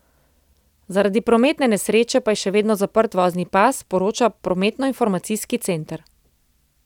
Zaradi prometne nesreče pa je še vedno zaprt vozni pas, poroča prometnoinformacijski center.